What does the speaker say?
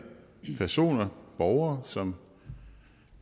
personer borgere som